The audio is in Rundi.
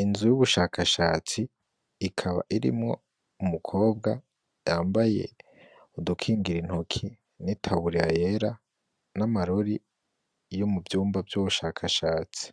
Inzu y'ubushakashatsi ikaba irimwo umukobwa yambaye udukingira intoki, n'itaburiya yera, n'amarori yo mu vyumba vy'ubushakashatsi,